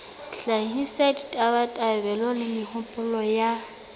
hlahisa ditabatabelo le mehopolo ya